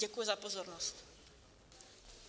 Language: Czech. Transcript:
Děkuji za pozornost.